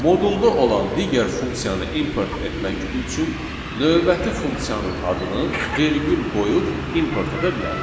Modulda olan digər funksiyanı import etmək üçün növbəti funksiyanın adını vergül qoyub import edə bilərik.